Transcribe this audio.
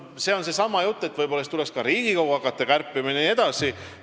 See on seesama jutt, et võib-olla tuleks hakata ka Riigikogu kärpima jne.